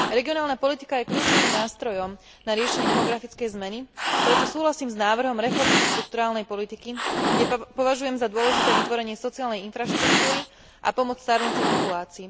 Regionálna politika je kľúčovým nástrojom na riešenie demografickej zmeny, preto súhlasím s návrhom reformy štrukturálnej politiky, kde považujem za dôležité vytvorenie sociálnej infraštruktúry a pomoc starnúcej populácii.